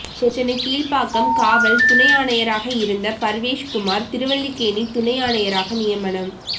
சென்னை கீழ்பாக்கம் காவல் துணை ஆணையராக இருந்த பர்வேஷ் குமார் திருவல்லிக்கேணி துணை ஆணையராக நியமனம்